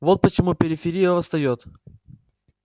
вот почему периферия восстаёт